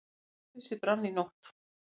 Hjólhýsi brann í nótt